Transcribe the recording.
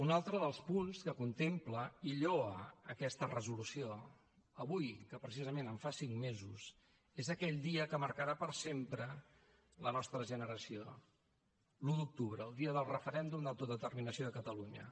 un altre dels punts que contempla i lloa aquesta resolució avui que precisament en fa cinc mesos és aquell dia que marcarà per sempre la nostra generació l’un d’octubre el dia del referèndum d’autodeterminació de catalunya